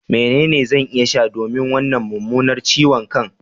Menene zan iya sha domin wannan mummunar ciwon kan?